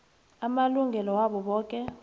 amalungelo wabo boke